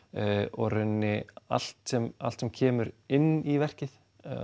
og í rauninni allt sem allt sem kemur inn í verkið